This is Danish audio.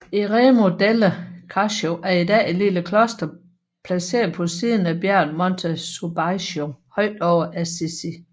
Eremo delle Carceri er i dag et lille kloster placeret på siden af bjerget Monte Subasio højt over Assisi